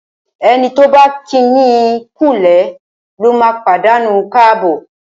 Ẹni tí ọ̀ bá kíni kúulé lóma pàdánù káàbọ̀.